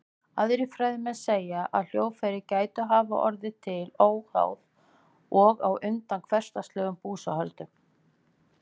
Aðrir fræðimenn segja að hljóðfæri gætu hafa orðið til óháð og á undan hversdagslegum búsáhöldum.